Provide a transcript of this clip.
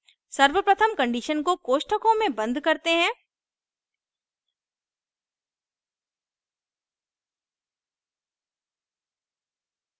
सर्वप्रथम condition को कोष्ठकों में बंद करते हैं